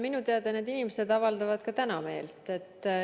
Minu teada need inimesed avaldavad ka täna meelt.